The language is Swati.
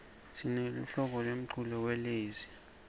sineluhlobo lemculo welezi